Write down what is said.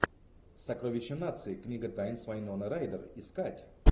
сокровища нации книга тайн с вайноной райдер искать